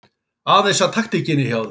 Aðeins að taktíkinni hjá þér.